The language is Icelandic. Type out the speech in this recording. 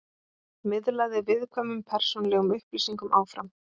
Miðlaði viðkvæmum persónulegum upplýsingum áfram